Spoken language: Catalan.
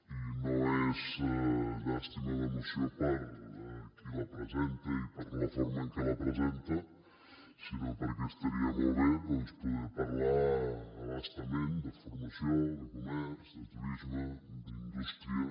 i no és llàstima de moció per qui la presenta i per la forma en què la presenta sinó perquè estaria molt bé doncs poder parlar a bastament de formació de comerç de turisme d’indústria